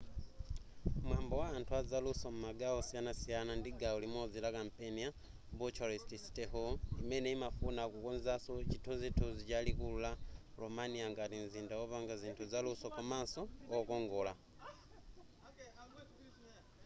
mwambo wa anthu a zaluso m'magawo osiyanasiyana ndi gawo limodzi la kampeni ya bucharest city hall imene imafuna kukonzanso chithunzithunzi cha likulu la romania ngati mzinda wopanga zinthu zaluso komanso wokongola